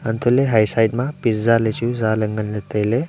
untoh ley haya side ma pizza ley chu za ley ngan ley tailey.